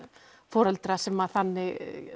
sem þannig